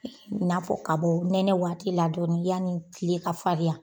N'a fɔ ka bɔ nɛnɛwaati la dɔɔnin yani tile ka fariya.